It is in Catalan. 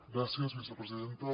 gràcies vicepresidenta